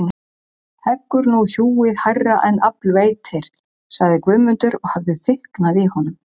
Heggur nú hjúið hærra en afl veitir, sagði Guðmundur og hafði þykknað í honum.